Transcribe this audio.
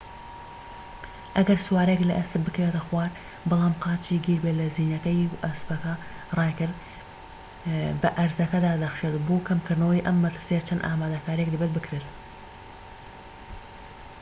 ئەگەر سوارەیەك لە ئەسپ بکەوێتە خوار بەڵام قاچی گیربێت لە زینەکەی و ئەسپەکە رایکرد بە ئەرزەکەدا دەخشێت بۆ کەمکردنەوەی ئەم مەترسیە چەند ئامادەکاریەک دەبێت بکرێن